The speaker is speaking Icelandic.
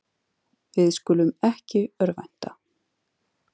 Við skulum ekki örvænta.